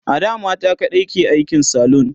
ada mata kaɗai ke aikin salon